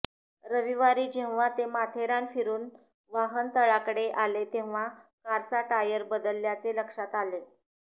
रविवारी जेव्हा ते माथेरान फिरून वाहनतळाकडे आले तेव्हा कारचा टायर बदलल्याचे लक्षात आले